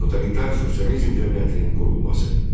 Totalitar sosializm cəmiyyətinin qurulması.